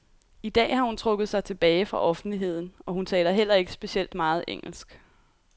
I dag har hun trukket sig tilbage fra offentligheden, og hun taler heller ikke specielt meget engelsk.